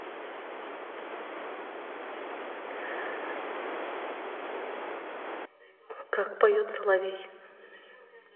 как поет соловей